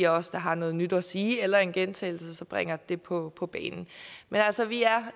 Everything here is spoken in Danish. os der har noget nyt at sige eller en gentagelse bringer det på på banen men altså vi er